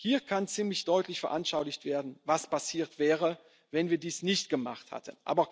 Entscheidung war. Hier kann ziemlich deutlich veranschaulicht werden, was passiert wäre, wenn wir dies